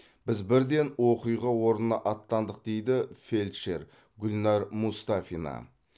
біз бірден оқиға орнына аттандық дейді фельдшер гүлнар мұстафина